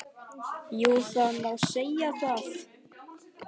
Jú það má segja það.